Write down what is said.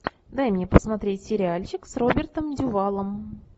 дай мне посмотреть сериальчик с робертом дювалом